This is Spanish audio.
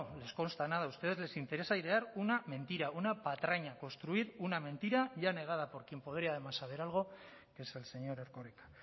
les consta nada a ustedes les interesa airear una mentira una patraña construir una mentira ya negada por quien podría además saber algo que es el señor erkoreka